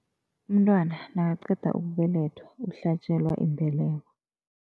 Umntwana nakaqeda ukubelethwa, uhlatjelwa imbeleko.